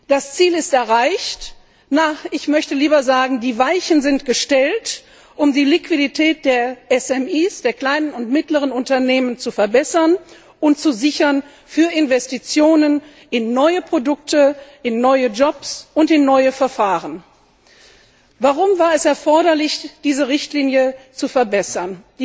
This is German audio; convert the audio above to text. Das Ziel ist erreicht, na, ich möchte lieber sagen, die Weichen sind gestellt, um die Liquidität der KMU, der kleinen und mittleren Unternehmen, zu verbessern und für Investitionen in neue Produkte, in neue Jobs und in neue Verfahren zu sichern. Warum war es erforderlich, diese Richtlinie zu verbessern?